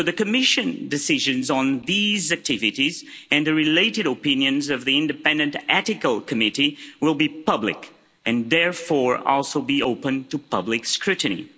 So the Commission decisions on these activities and the related opinions of the Independent Ethical Committee will be public and, therefore, also be open to public scrutiny.